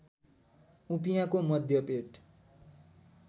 उपियाँको मध्य पेट